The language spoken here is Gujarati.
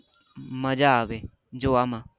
મજા આવે જોવા માં